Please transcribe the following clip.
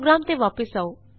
programme ਤੇ ਵਾਪਸ ਆਉ